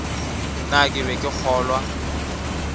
na ke be ke kgolwa